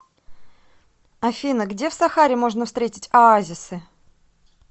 афина где в сахаре можно встретить оазисы